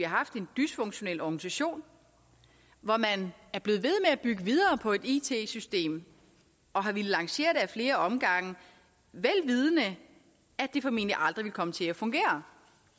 har haft en dysfunktionel organisation hvor man er blevet ved med at bygge videre på et it system og har villet lancere det ad flere omgange vel vidende at at det formentlig aldrig ville komme til at fungere